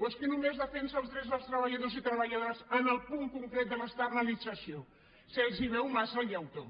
o és que només defensa els drets dels treballadors i treballadores en el punt concret de l’externalització se’ls veu massa el llautó